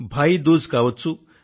భాయీ దూజ్ కావచ్చు